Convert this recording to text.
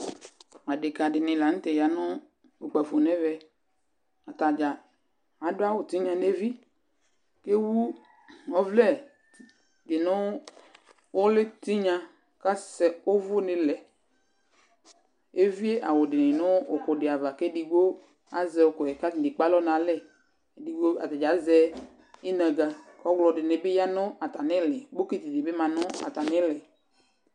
adeka di ni lantɛ ya no kpafo no ɛvɛ atadza ado awu tinya no evi ko ewu ɔvlɛ di no uli tinya ko asɛ òvò ni lɛ evie awu di ni no òkò di ava ko edigbo azɛ òkò yɛ ko atani ekpe alɔ no alɛ atadza azɛ inaga ko ɔwlɔ di ni bi ya no atami ili bokiti di bi ma no atami ili